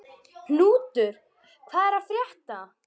Knútur, hvað er að frétta?